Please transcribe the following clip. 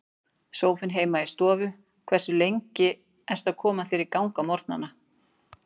Sófinn heima í stofu Hversu lengi ertu að koma þér í gang á morgnanna?